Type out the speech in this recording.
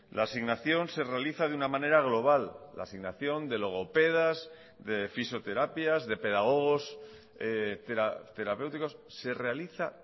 la asignación se realiza de una manera global la asignación de logopedas de fisioterapias de pedagogos terapéuticos se realiza